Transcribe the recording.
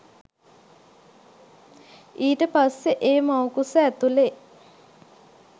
ඊට පස්සේ ඒ මව්කුස ඇතුළේ